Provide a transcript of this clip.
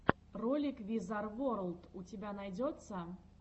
ролик визар ворлд у тебя найдется